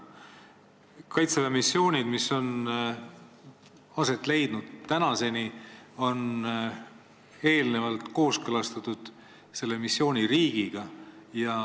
Kaitseväe missioonid, mis on seni aset leidnud, on eelnevalt kooskõlastatud konkreetse missiooni riigiga.